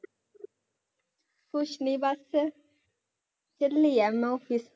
ਕੁਛ ਨੀ ਬਸ ਚੱਲੀ ਹੈ ਮੈਂ office